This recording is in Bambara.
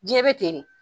Diɲɛ bɛ ten de